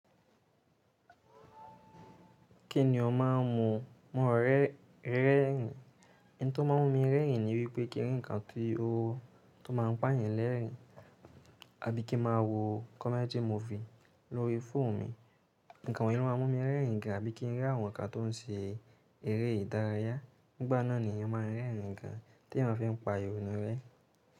Kí ni ọ má a ń mu mọ́ rẹ́rìn? Ohun tó má ń mú mi rẹ́rìn ni wípé kí n rí ǹkan tí ó tó má ń pà yàn lẹ́rìn, àbí kí ń má a wo comedy movie lórí fóònù mi. Ǹkan wọ̀nyí ló má ń mú mi rẹ́rìn gan, àbí kí ń rí àwọn ǹkan tó ń ṣe eré ìdárayá. Nígbà náà ni èyàn má ń rẹ́rìn gan tí èyàn fin pa ìrònú rẹ́.